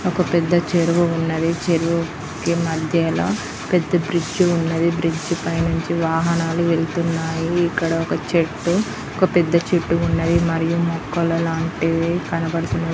ఒక పెద్ద చెరువు ఉన్నది. చెరువు కి మధ్యల పెద్ద బ్రిడ్జ్ ఉన్నది. బ్రిడ్జ్ పై నుంచి వాహనాలు వెళ్ళుతున్నాయి. ఇక్కడ ఒక చెట్టు ఒక పెద్ద చెట్టు ఉన్నది. మరియు మొక్కల లాంటివి కనబడుతున్నాయి.